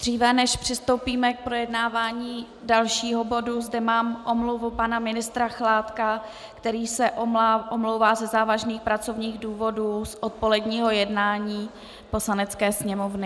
Dříve než přistoupíme k projednávání dalšího bodu, mám zde omluvu pana ministra Chládka, který se omlouvá ze závažných pracovních důvodů z odpoledního jednání Poslanecké sněmovny.